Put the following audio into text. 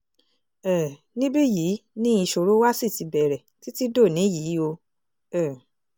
um níbí yìí ni ìṣòro wa ṣì ti bẹ̀rẹ̀ títí dòní yìí o um